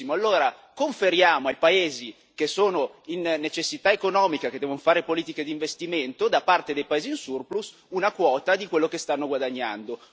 Benissimo, conferiamo ai paesi che sono in necessità economica e che devono fare politiche di investimento, da parte dei paesi in surplus, una quota di quello che stanno guadagnando.